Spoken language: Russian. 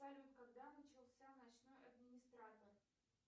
салют когда начался ночной администратор